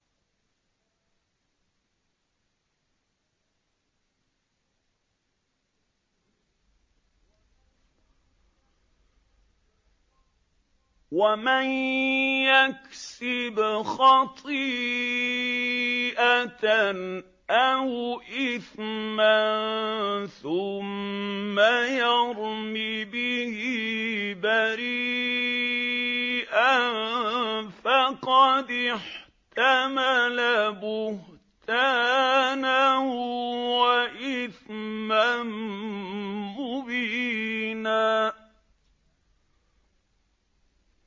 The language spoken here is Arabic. وَمَن يَكْسِبْ خَطِيئَةً أَوْ إِثْمًا ثُمَّ يَرْمِ بِهِ بَرِيئًا فَقَدِ احْتَمَلَ بُهْتَانًا وَإِثْمًا مُّبِينًا